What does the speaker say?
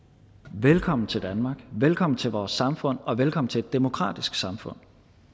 velkommen til danmark velkommen til vores samfund og velkommen til et demokratisk samfund